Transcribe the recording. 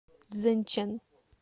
цзэнчэн